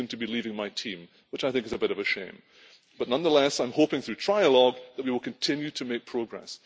He is soon to be leaving my team, which I think is a bit of a shame. But nonetheless I am hoping through trilogue that we will continue to make progress.